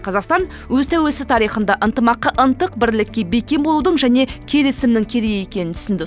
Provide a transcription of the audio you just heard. қазақстан өз тәуелсіз тарихында ынтымаққа ынтық бірлікке бекем болудың және келісімнің керек екенін түсінді